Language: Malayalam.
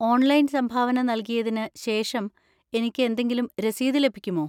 ഓൺലൈൻ സംഭാവന നൽകിയതിന് ശേഷം എനിക്ക് എന്തെങ്കിലും രസീത് ലഭിക്കുമോ?